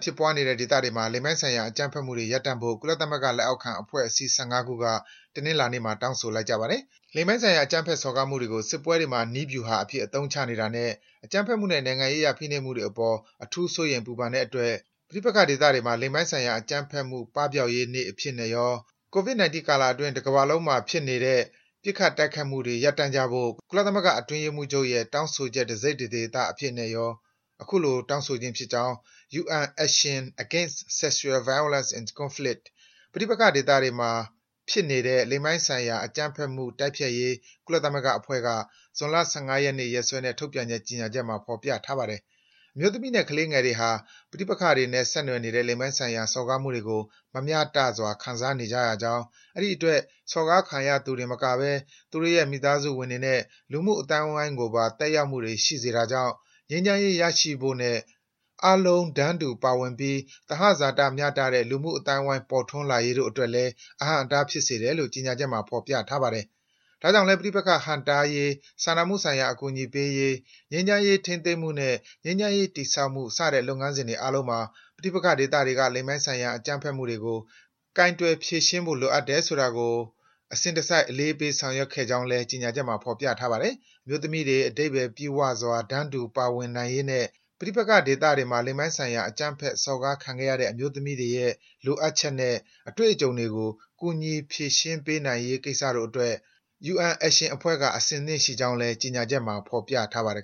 ဖြစ်ပွားနေတဲ့ဒေသတွေမှာ လိင်ပိုင်းဆိုင်ရာ အကြမ်းဖက်မှုတွေ ရပ်တန့်ဖို့ ကုလသမဂ္ဂလက်အောက်ခံ အဖွဲ့အစည်း ၁၅ ခုက တနင်္လာနေ့မှာ တောင်းဆိုလိုက်ကြပါတယ်။ လိင်ပိုင်းဆိုင်ရာ အကြမ်းဖက်စော်ကားမှုတွေကို စစ်ပွဲတွေမှာ နည်းဗြူဟာအဖြစ် အသုံးချနေတာနဲ့ အကြမ်းဖက်မှုနဲ့ နိုင်ငံရေးအရ ဖိနှိပ်မှုတွေအပေါ် အထူးစိုးရိမ် ပူပန်တဲ့အတွက် ပဋိပက္ခဒေသတွေမှာ လိင်ပိုင်းဆိုင်ရာအကြမ်းဖက်မှု ပပျောက်ရေးနေ့အဖြစ်ရော၊ Covid-19 ကာလအတွင်း တကမ္ဘာလုံးမှာ ဖြစ်ပေးနေတဲ့ ပစ်ခတ် တိုက်ခိုက်မှုတွေ ရပ်တန့်ကြဖို့ ကုလသမဂ္ဂအတွင်းရေးမှူးချုပ်ရဲ့ တောင်းဆိုချက် တစိတ် တဒေသအဖြစ်နဲ့ရော တောင်းဆိုခြင်းဖြစ်ကြောင်း UN Action Against Sexual Violence in Conflict ပဋိပက္ခဒေသတွေမှာ ဖြစ်ပေးနေတဲ့ လိင်ပိုင်းဆိုင်ရာ အကြမ်းဖက်မှု တိုက်ဖျက်ရေး ကုလသမဂ္ဂအဖွဲ့က ဇွန်လ ၁၅ ရက်နေ့ ရက်စွဲနဲ့ ထုတ်ပြန်တဲ့ကြေညာချက်မှာ ဖော်ပြထားပါတယ်။ အမျိုးသမီးနဲ့ မိန်းကလေးငယ်တွေဟာ ပဋိပက္ခတွေနဲ့ဆက်နွယ်နေတဲ့ လိင်ပိုင်းဆိုင်ရာ စော်ကားမှုတွေကို မမျှတစွာ ခံနေရကြောင်း၊ အဲဒီအတွက် စော်ကားခံသူတင်မကဘဲ သူတို့ရဲ့ မိသားစုဝင်တွေနဲ့ လူမှုအသိုင်းကိုပါ သက်ရောက်မှုတွေ ရှိစေတာကြောင့် ငြိမ်းချမ်းရေး ရရှိဖို့နဲ့ အားလုံးတန်းတူပါဝင်ပြီး သဟဇာတမျှတတဲ့ လူမှုအသိုင်းအဝိုင်း ပေါ်ထွန်းလာရေးတို့အတွက်လည်း အဟန့်အတား ဖြစ်စေတယ်လို့ ကြေညာချက်မှာ ဖော်ပြထားပါတယ်။ ဒါကြောင့်လည်း ပဋိပက္ခဟန့်တားရေး၊ စာနာမှုဆိုင်ရာ အကူအညီပေးရေး၊ ငြိမ်းချမ်းရေးထိန်းသိမ်းမှုနဲ့ ငြိမ်းချမ်းရေးတည်ဆောက်မှု စတဲ့ လုပ်ငန်းစဉ်တွေအားလုံးမှာ ပဋိပက္ခဒေသတွေက လိင်ပိုင်းဆိုင်ရာ အကြမ်းဖက်မှုတွေကို ကိုင်တွယ် ဖြေရှင်းဖို့လိုအပ်တယ်ဆိုတာကို အစဉ်တစိုက် အလေးပေး ဆောင်ရွက်ခဲ့ကြောင်းလည်း ကြေညာချက်မှာ ဖော်ပြထားပါတယ်။ အမျိုးသမီးတွေ အဓိပ္ပာယ်ပြည့်ဝစွာ တန်းတူပါဝင်နိုင်ရေးနဲ့ ပဋိပက္ခတွေမှာ လိင်ပိုင်းဆိုင်ရာ အကြမ်းဖက်စော်ကားခံခဲ့ရတဲ့ အမျိုးသမီးတွေရဲ့ လိုအပ်ချက်နဲ့ အတွေ့အကြုံတွေကို ကူညီ ဖြေရှင်းပေးနိုင်ရေးကိစ္စတို့အတွက် UN Action အဖွဲ့က အဆင်သင့်ရှိကြောင်းလည်း ကြေညာချက်မှာ ဖော်ပြထားပါတယ်